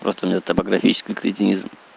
просто у неё топографический кретинизм